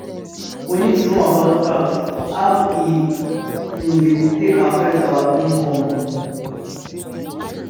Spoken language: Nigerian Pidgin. We need to know about tax and how e um take dey affect our income um